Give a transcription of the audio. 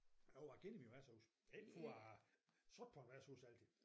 Jo jeg kender mine værtshuse ikke for jeg har siddet på et værtshus altid